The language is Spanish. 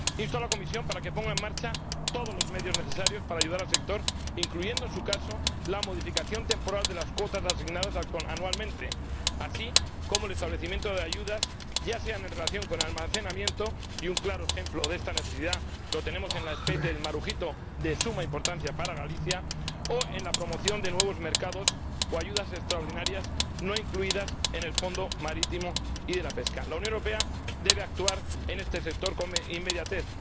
Insto a la Comisión a que ponga en marcha todos los medios necesarios para ayudar al sector, incluyendo, en su caso, la modificación temporal de las cuotas asignadas anualmente, así como el establecimiento de ayudas, ya sea en relación con el almacenamiento —y un claro ejemplo de esta necesidad lo tenemos en la especie del marujito, de suma importancia para Galicia— o en la promoción de nuevos mercados o ayudas extraordinarias no incluidas en el Fondo Marítimo y de Pesca. La Unión Europea debe actuar en este sector con inmediatez.